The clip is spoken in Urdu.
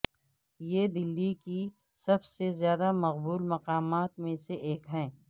یہ دلی کے سب سے زیادہ مقبول مقامات میں سے ایک ہے